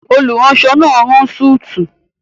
Olùránsọ náà n rán súùtù